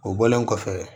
O bɔlen kɔfɛ